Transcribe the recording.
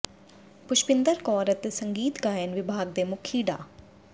ਪੁਸ਼ਪਿੰਦਰ ਕੌਰ ਅਤੇ ਸੰਗੀਤ ਗਾਇਨ ਵਿਭਾਗ ਦੇ ਮੁਖੀ ਡਾ